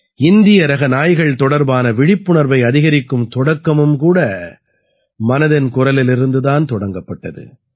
இந்திய ரக நாய்கள் தொடர்பான விழிப்புணர்வை அதிகரிக்கும் தொடக்கமும் கூட மனதின் குரலிலிருந்து தான் தொடங்கப்பட்டது